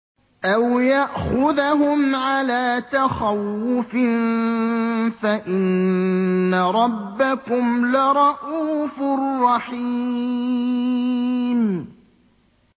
أَوْ يَأْخُذَهُمْ عَلَىٰ تَخَوُّفٍ فَإِنَّ رَبَّكُمْ لَرَءُوفٌ رَّحِيمٌ